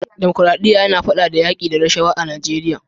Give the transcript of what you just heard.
demokradiya yina fada da yaki da rashawa a najeriya